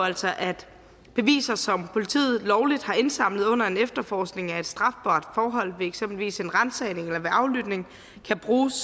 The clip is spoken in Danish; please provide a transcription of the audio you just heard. altså at beviser som politiet lovligt har indsamlet under en efterforskning af et strafbart forhold ved eksempelvis en ransagning eller en aflytning kan bruges